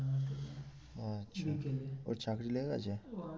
আচ্ছা বিকালে ওর চাকরি লেগে গেছে?